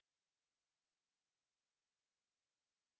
tux typing icon पर click करें